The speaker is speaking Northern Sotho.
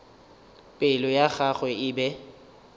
pelo ya gagwe e be